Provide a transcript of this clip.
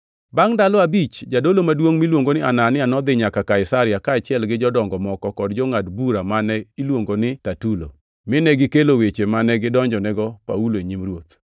Bangʼ ndalo abich, jadolo maduongʼ miluongi ni Anania nodhi nyaka Kaisaria, kaachiel gi jodongo moko, kod jangʼad bura mane iluongo ni Tertulo, mine gikelo weche mane gidonjonigo Paulo e nyim ruoth.